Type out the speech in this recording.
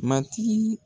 Matigi